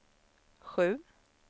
sju